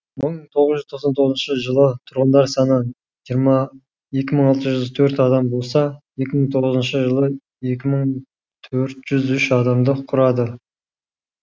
мың тоғыз жүз тоқсан тоғызыншы жылы тұрғындар саны екі мың алты жүз төрт адам болса екі мың тоғызыншы жылы екі мың төрт жүз үш адамды құрады